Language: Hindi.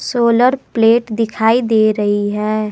सोलर प्लेट दिखाई दे रही है।